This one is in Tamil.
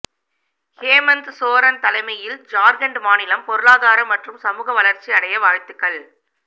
ஹேமந்த் சோரன் தலைமையில் ஜார்க்கண்ட் மாநிலம் பொருளாதார மற்றும் சமூக வளர்ச்சி அடைய வாழ்த்துகள்